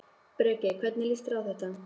Breki: Hvernig líst þér á þetta?